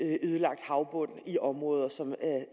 ødelagt havbund i områder som